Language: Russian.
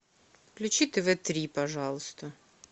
включи тв три пожалуйста